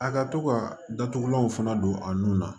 A ka to ka datugulanw fana don a nun na